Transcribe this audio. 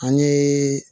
An ye